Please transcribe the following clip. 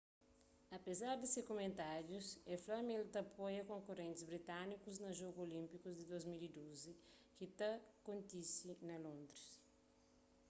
apezar di se kumentárius el fla ma el ta apoia konkurentis britanikus na jogus olínpiku di 2012 ki ta kontise na londris